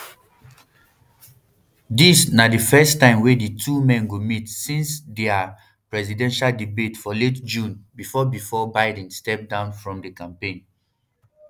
dis na di first time wey di two men go meet since dia um presidential debate for late june bifor bifor biden step down from di campaign